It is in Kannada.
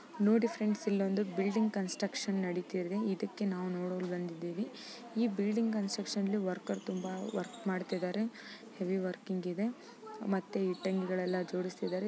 ನೋಡಿ ಫ್ರೆಂಡ್ಸ್ ಇಲ್ಲೊಂದು ಬಿಲ್ಡಿಂಗ್ ಕನ್ಸ್ಟ್ರಕ್ಷನ್ ನಡೀತಿದೆ. ಇದಕ್ಕೆ ನಾವು ನೋಡಲು ಬಂದಿದ್ದಿವಿ. ಈ ಬಿಲ್ಡಿಂಗ್ ಕನ್ಸ್ಟ್ರಕ್ಷನ ಲ್ಲಿ ವರ್ಕರ್ ತುಂಬ ವರ್ಕ್ ಮಾಡ್ತಿದಾರೆ. ಹೆವಿ ವರ್ಕಿಂಗ್ ಇದೆ. ಮತ್ತೆ ಇಟ್ಟಂಗಿಗಳೆಲ್ಲಾ ಜೋಡಿಸ್ತಿದಾರೆ.